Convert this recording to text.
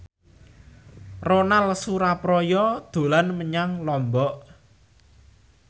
Ronal Surapradja dolan menyang Lombok